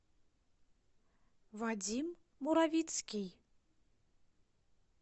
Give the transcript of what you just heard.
вадим муровицкий